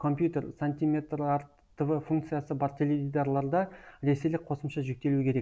компьютер сантиметрарт тв функциясы бар теледидарларда ресейлік қосымша жүктелуі керек